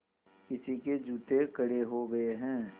किसी के जूते कड़े हो गए हैं